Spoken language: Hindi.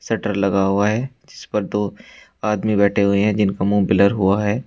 शटर लगा हुआ है जिस पर दो आदमी बैठे हुए है जिनका मु ब्लर हुआ है।